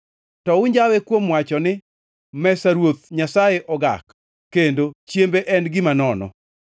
“To unjawe kuom wacho ni, ‘Mesa Ruoth Nyasaye ogak,’ kendo, ‘Chiembe en gima nono.’